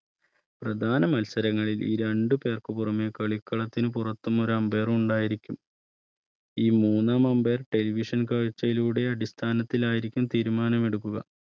പ്രധാന മത്സരങ്ങളിൽ ഈ രണ്ട് പേർക്ക് പുറമേ കളിക്കളത്തിന് പുറത്തും ഒരു Ambire ഉണ്ടായിരിക്കും ഈ മൂന്നാം Ambire television കാഴ്ചയുടെ അടിസ്ഥാനത്തിൽ ആയിരിക്കും തീരുമാനമെടുക്കുക